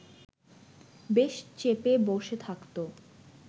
বেশ চেপে বসে থাকত